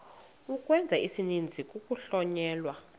ukwenza isininzi kuhlonyelwa